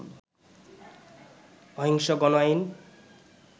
অহিংস গণ আইন